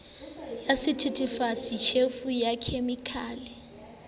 ya sethethefatsi tjhefu ya khemikhale